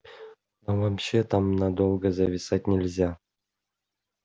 вообще там надолго зависать нельзя